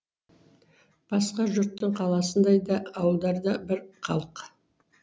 басқа жұрттың қаласындай да ауылдарда бір халық